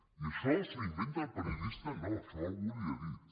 i això s’ho inventa el periodista no això algú li ho ha dit